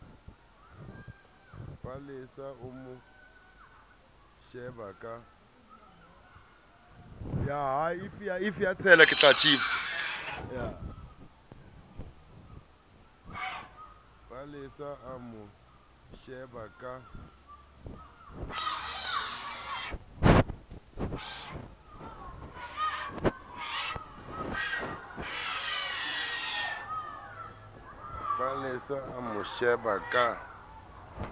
palesa o mo sheba ka